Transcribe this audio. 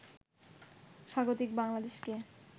স্বাগতিক বাংলাদেশকে